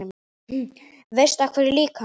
Veistu af hverju líka?